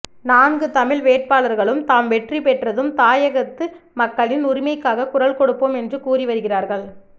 நான்கு தமிழ் வேட்பாளர்களும் தாம் வெற்றி பெற்றதும் தாயகத்து மக்களின் உரிமைக்காகக் குரல் கொடுப்போம் என்று கூறிவருகிறார்கள்